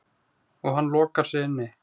Og hann lokar sig inni.